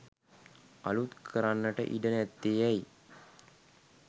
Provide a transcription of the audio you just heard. අලූත් කරන්නට ඉඩ නැත්තේ ඇයි?